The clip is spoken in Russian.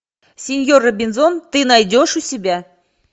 синьор робинзон ты найдешь у себя